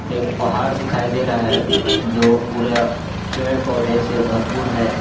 एक पहाड़ दिखाई दे रहा है जो पूरा पेड़-पौधे से भरपूर है।